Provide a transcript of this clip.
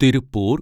Tiruppur